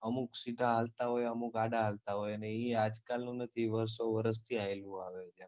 અમુક સીધાં આલતા હોય અમુક આડા હાલતાં હોય અને ઈએ આજકાલનું નથી વર્ષો વર્ષ થી આયેલું આવે છે